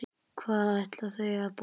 Hvað ætla þau að borða?